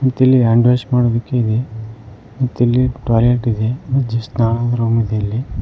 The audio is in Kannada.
ಮತ್ತಿಲ್ಲಿ ಹ್ಯಾಂಡ್ ವಾಶ್ ಮಡೋದಿಕ್ಕೆ ಇದೆ ಮತ್ತಿಲ್ಲಿ ಟಾಯ್ಲೆಟ್ ಇದೆ ಮತ್ತೆ ಸ್ನಾನದ ರೂಮಿದೆ ಇಲ್ಲಿ.